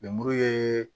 Lemuru ye